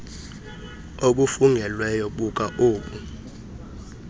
obufungelweyo buka obu